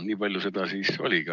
Nii palju seda siis oligi.